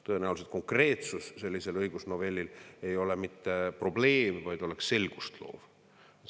Tõenäoliselt ei ole sellise õigusnovelli konkreetsus mitte probleem, vaid see oleks selgust loov.